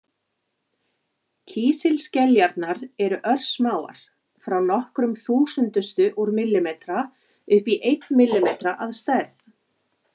Kísilskeljarnar eru örsmáar, frá nokkrum þúsundustu úr millimetra upp í einn millimetra að stærð.